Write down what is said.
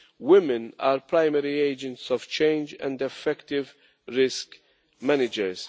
women are primary agents of change and effective risk managers.